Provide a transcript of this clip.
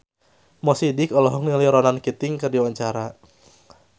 Mo Sidik olohok ningali Ronan Keating keur diwawancara